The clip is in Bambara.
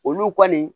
Olu kɔni